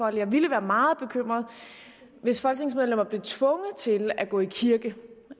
jeg ville være meget bekymret hvis folketingsmedlemmer blev tvunget til at gå i kirke